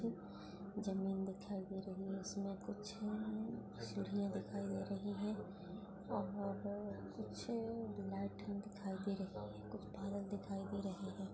जमीन दिखाई दे रही है इसमे कुछ सीढ़ियाँ दिखाई दे रही है और कुछ लाइटे दिखाई दे रही है कुछ दिखाई दे रही है।